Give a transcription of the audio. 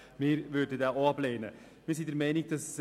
Hier kommt er nun als Rückweisungsantrag daher.